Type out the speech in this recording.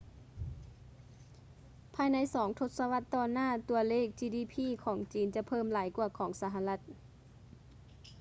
ພາຍໃນສອງທົດສະວັດຕໍ່ໜ້າ ຕົວເລກ ຈີດີພີ gdp ຂອງຈີນ ຈະເພີ່ມຫຼາຍກວ່າຂອງສະຫະລັດ